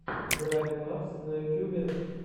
брайн мапс на ютьюбе